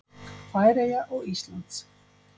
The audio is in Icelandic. Færeyja og Íslands.